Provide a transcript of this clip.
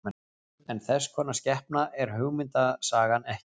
En þess konar skepna er hugmyndasagan ekki.